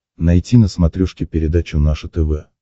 найти на смотрешке передачу наше тв